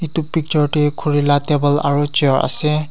etu picture te khori laga table aru chair ase.